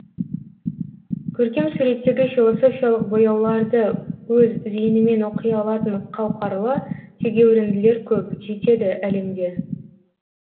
көркем суреттегі философиялық бояуларды өз зейінімен оқи алатын қауқарлы тегеуірінділер көп жетеді әлемде